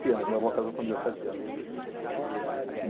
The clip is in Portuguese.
anos. Minha avó casou com dezessete anos.